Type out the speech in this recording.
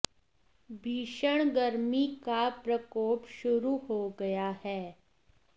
भीषण गर्मी का प्रकोप शुरू हो गया है